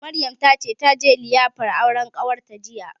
Maryam ta ce taje liyafar auren ƙawarta jiya